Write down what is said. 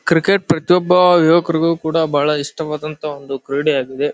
Cricket ಪ್ರತಿಯೊಬ್ಬ ಯುವಕರಿಗೂ ಕೂಡ ಬಹಳ ಇಷ್ಟವಾದಂತ ಒಂದು ಕ್ರೀಡೆ ಯಾಗಿದೆ.